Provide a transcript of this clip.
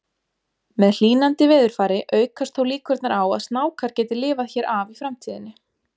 Með hlýnandi veðurfari aukast þó líkurnar á að snákar geti lifað hér af í framtíðinni.